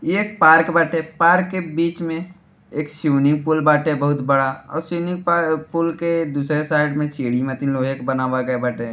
इ एक पार्क बाटे पार्क के बिच में एक स्विन्निंग पूल बाटे बहुत बड़ा और स्विन्निंग पूल के दूसरे साइड मे सीढ़ी मतीन लोहे के बनावल गयल बाटे।